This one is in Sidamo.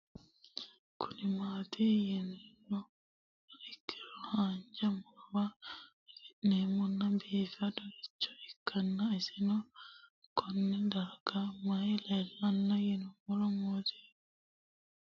Kuni mati yinumoha ikiro hanja murowa afine'mona bifadoricho ikana isino Kone darga mayi leelanno yinumaro muuze hanannisu timantime gooranna buurtukaane